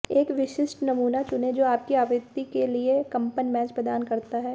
एक विशिष्ट नमूना चुनें जो आपकी आवृत्ति के लिए कंपन मैच प्रदान करता है